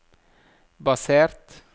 basert